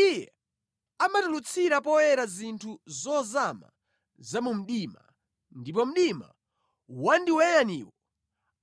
Iye amatulutsira poyera zinthu zozama za mu mdima ndipo mdima wandiweyaniwo